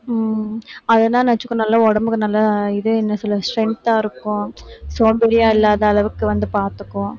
உம் அதுதான் நினைச்சுக்கோ நல்லா உடம்புக்கு நல்லா இதே இன்னும் சில strength ஆ இருக்கும் சோம்பேறியா இல்லாத அளவுக்கு வந்து பாத்துக்கும்